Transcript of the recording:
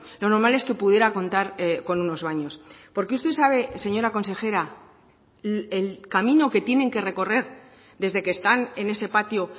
lo normal es que pudiera contar con unos baños porque usted sabe señora consejera el camino que tienen que recorrer desde que están en ese patio